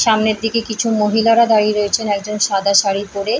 সামনের দিকে কিছু মহিলারা দাঁড়িয়ে রয়েছেন একজন সাদা শাড়ি পরে ।